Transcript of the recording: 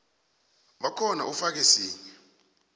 bakhona ufake sinye